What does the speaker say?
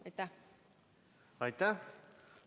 Aitäh!